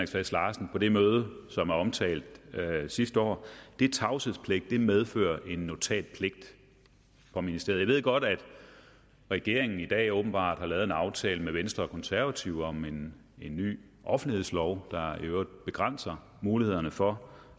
sass larsen på det møde som er omtalt sidste år medfører en notatpligt fra ministeriet jeg ved godt at regeringen i dag åbenbart har lavet en aftale med venstre og konservative om en ny offentlighedslov der i øvrigt begrænser mulighederne for